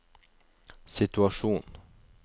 situasjon